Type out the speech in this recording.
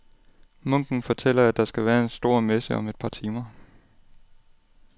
Munken fortæller, at der skal være en stor messe om et par timer.